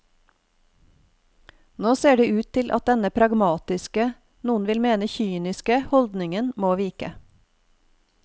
Nå ser det ut til at denne pragmatiske, noen vil mene kyniske, holdningen må vike.